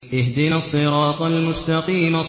اهْدِنَا الصِّرَاطَ الْمُسْتَقِيمَ